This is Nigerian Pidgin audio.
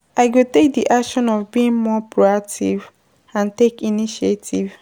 i go take di action of being more proactive and take initiative.